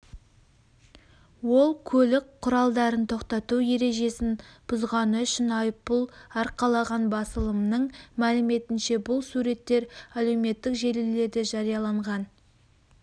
ол көлік құралдарын тоқтату ережесін бұзғаны үшін айыппұл арқалаған басылымның мәліметінше бұл суреттер әлеуметтік желілерде жарияланған